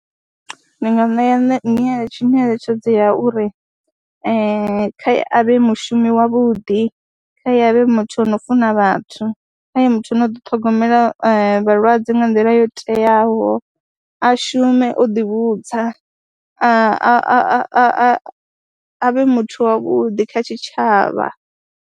Ndi nga ṋea ṋe nyeletshe nyeletshedzo ya uri a vhe mushumi wavhuḓi, kha ye a vhe muthu ano funa vhathu, kha vhe muthu a no ḓiṱhogomela vha vhalwadze nga nḓila yo teaho, a shume o ḓivhudza, a a a vhe muthu wavhuḓi kha tshitshavha.